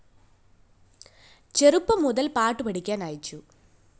ചെറുപ്പം മുതല്‍ പാട്ടു പഠിക്കാന്‍ അയച്ചു